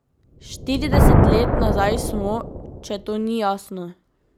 Štirideset let nazaj smo, če to ni jasno.